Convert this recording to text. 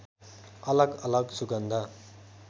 अलग अलग सुगन्ध